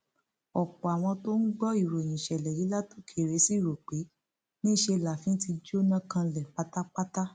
ọpọ àwọn tó ń gbọ ìròyìn ìṣẹlẹ yìí látòkèèrè ṣì rò pé níṣẹ láàfin ti jóná kanlẹ pátá